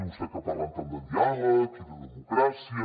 i vostès que parlen tant de diàleg i de democràcia